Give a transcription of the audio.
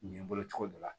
Nin ye n bolo cogo dɔ la